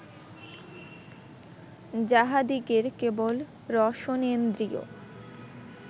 যাঁহাদিগের কেবল রসনেন্দ্রিয়